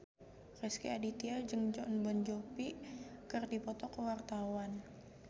Rezky Aditya jeung Jon Bon Jovi keur dipoto ku wartawan